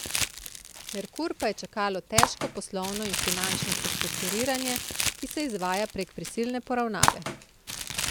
Merkur pa je čakalo težko poslovno in finančno prestrukturiranje, ki se izvaja prek prisilne poravnave.